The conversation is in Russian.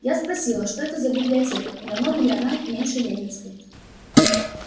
я спросила что это за библиотека и намного ли она меньше ленинской